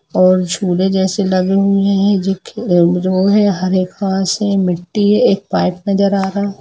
और झूले जैसे लगे हुए है जो कि रहा है हरे घास हैमिटी हे एक पाइप नजर आ रहा है।